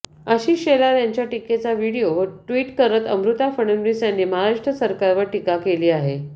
आशिष शेलार यांच्या टीकेचा video retweet करत अमृता फडणवीस यांनी महाराष्ट्र सरकारवर टीका केली आहे